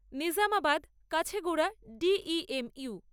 Nizamabad Kacheguda D E M you